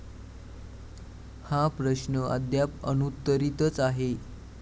हा प्रश्न अद्याप अनुत्तरीतच आहे.